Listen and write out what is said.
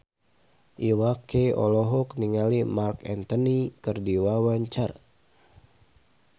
Iwa K olohok ningali Marc Anthony keur diwawancara